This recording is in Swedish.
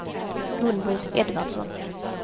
Gun-Britt Edvardsson